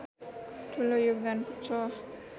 ठुलो योगदान पुग्छ